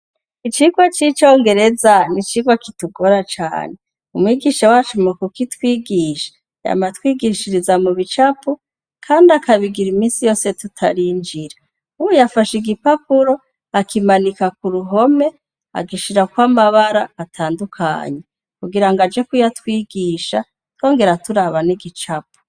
Icirwe c'icongereza nicirwa kitugora cane u mwigisha wacu mukuko itwigisha yama twigishiriza mu bicapu, kandi akabigira imisi yose tutarinjira uwu yafasha igipapuro akimanika ku ruhome agishira kw'amabara atandukanyi kugira ngo aje kouyatwigia gisha tongera turaban'igicapo.